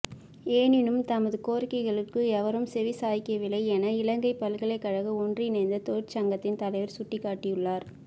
எனினும் தமது கோரிக்கைளுக்கு எவரும் செவிசாய்க்கவில்லை என இலங்கை பல்கலைக்கழக ஒன்றிணைந்த தொழிற்சங்கத்தின் தலைவர் சுட்டிக்காட்டியுள்ளார்